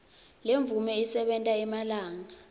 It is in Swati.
lemvume isebenta emalanga